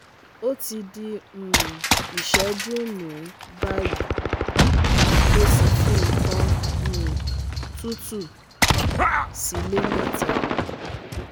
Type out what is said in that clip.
o ti di um iseju mrun bayi, mo si fi nkan um tutu si le meta